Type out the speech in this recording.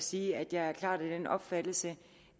sige at jeg klart er af den opfattelse